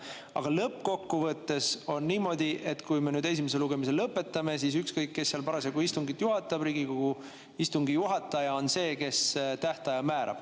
Aga lõppkokkuvõttes on niimoodi, et kui me nüüd esimese lugemise lõpetame, siis ükskõik, kes parasjagu istungit juhatab, Riigikogu istungi juhataja on see, kes tähtaja määrab.